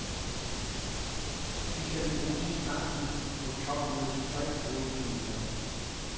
De skal bruges i kampen mod topmødets tre hovedtemaer.